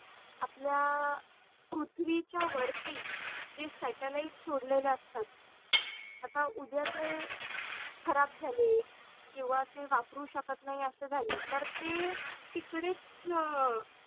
आपल्या पृथ्वीचा वरती जे Satellite छोडलेलं असतात आता उद्या खरब् झाले किव्वा ते वापरू शकत नाही अस झाले तर ते तिकडेच